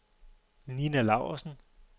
Ninna Laursen